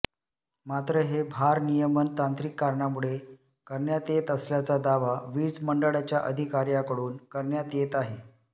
मात्र हे भारनियमन तांत्रिक कारणामुळे करण्यात येत असल्याचा दावा वीज मंडळाच्या अधिकार्यांकडून करण्यात येत आहे